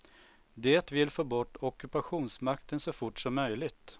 Det vill få bort ockupationsmakten så fort som möjligt.